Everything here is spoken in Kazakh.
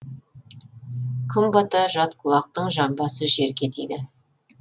күн бата жатқұлақтың жамбасы жерге тиді